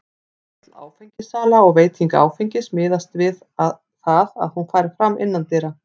Öll áfengissala og veiting áfengis miðast við það að hún fari fram innandyra.